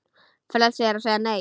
Frelsi er að segja Nei!